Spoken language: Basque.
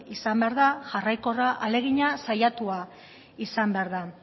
izan behar da jarraikorra ahalegina saiatua izan behar da